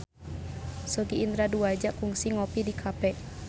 Sogi Indra Duaja kungsi ngopi di cafe